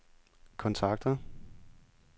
kontakter